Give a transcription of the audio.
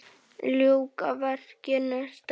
Ljúka verkinu strax!